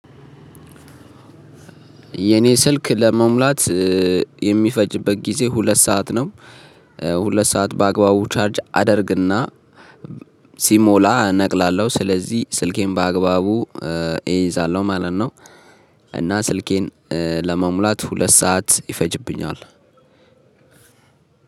የኔ ስልክ ለመሙላት የሚፈጅበት ጊዜ ሁለት ሰዓት ነው። ሁለት ሰዓት በአግባቡ ቻርጅ አደርግና ሲሞላ እነቅላለሁ ስለዚህ ስልኬን በአግባቡ እይዛለሁ ማለት ነው። እና ስልኬን ለመሙላት ሁለት ሰዓት ይፈጅብኛል።